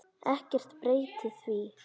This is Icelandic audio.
Ekkert breytir því.